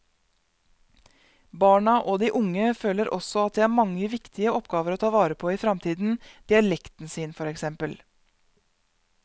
Barna og de unge føler også at de har mange viktige oppgaver å ta vare på i fremtiden, dialekten sin for eksempel.